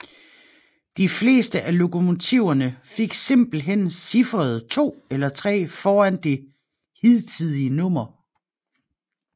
De fleste af lokomotiverne fik simpelthen cifferet 2 eller 3 foran det hidtige nummer